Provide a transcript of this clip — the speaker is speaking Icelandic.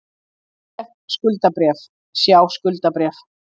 Breytileg skuldabréf, sjá skuldabréf